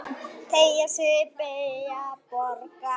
Teygja sig, beygja, bogra.